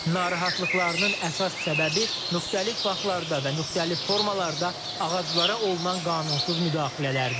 Narahatlıqlarının əsas səbəbi müxtəlif vaxtlarda və müxtəlif formalarda ağaclara olunan qanunsuz müdaxilələrdir.